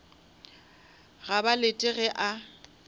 ga ba lete ge a